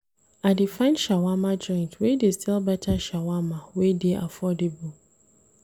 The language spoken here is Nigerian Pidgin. I dey find shawama joint wey dey sell beta shawama wey dey affordable.